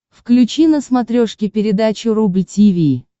включи на смотрешке передачу рубль ти ви